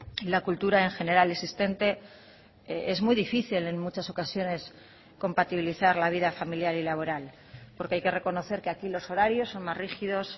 y la cultura en general existente es muy difícil en muchas ocasiones compatibilizar la vida familiar y laboral porque hay que reconocer que aquí los horarios son más rígidos